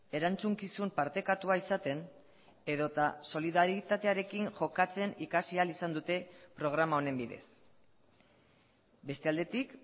erantzukizun partekatua izaten edota solidaritatearekin jokatzen ikasi ahal izan dute programa honen bidez beste aldetik